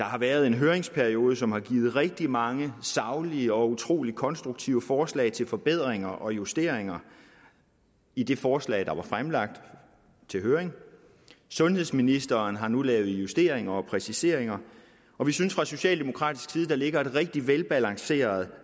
har været en høringsperiode som har givet rigtig mange saglige og utrolig konstruktive forslag til forbedringer og justeringer i det forslag der var fremlagt til høring sundhedsministeren har nu lavet justeringer og præciseringer og vi synes fra socialdemokratisk side der ligger et rigtig velbalanceret